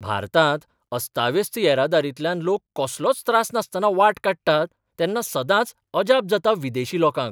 भारतांत अस्ताव्यस्त येरादारींतल्यान लोक कसलोच त्रास नासतना वाट काडटात तेन्ना सदांच अजाप जाता विदेशी लोकांक.